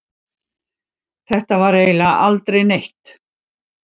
Þetta var eiginlega aldrei neitt.